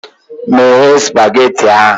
Meghe spageti ahụ!